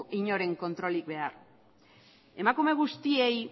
inoren kontrolik behar emakume guztiei